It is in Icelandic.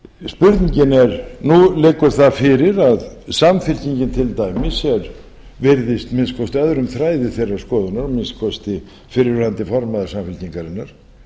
spurningin er nú liggur það fyrir að samfylkingin til dæmis virðist að minnsta kosti öðrum þræði þeirrar skoðunar að minnsta kosti fyrrverandi formaður samfylkingarinnar